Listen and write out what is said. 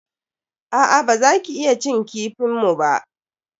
A'a, baza ka iya cin kifin mu ba.